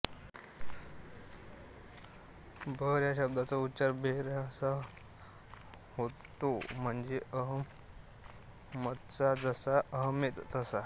बहर या शब्दाचा उच्चार बेहेर असा होतो म्हणजे अहमदचा जसा अहेमद तसा